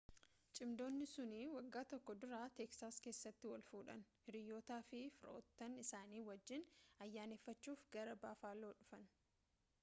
cimdootni sun wagga tokko dura teeksaas keessatti wal fuudhanii hiriyootaa fi firoottan isaanii wajjin ayyaaneffachuf gara baafaloo dhufan